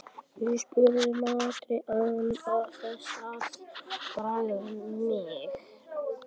spurði Marteinn án þess að bregða mjög.